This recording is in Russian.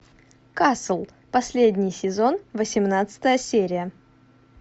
касл последний сезон восемнадцатая серия